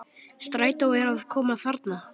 Strætó er að koma þarna!